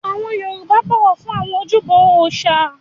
Àwọn Yorùbá bọ̀wọ̀ fún àwọn ojúbọ òrìṣà